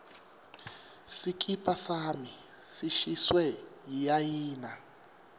sikipa sami sishiswe yiayina